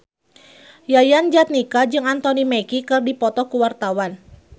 Yayan Jatnika jeung Anthony Mackie keur dipoto ku wartawan